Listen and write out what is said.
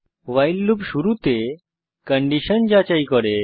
ভাইল loop শুরুতে condition যাচাই করে